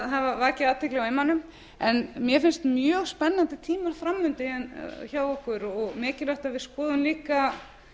hafa vakið athygli á immanum mér finnst mjög spennandi tími fram undan hjá okkur og mikilvægt að við skoðum líka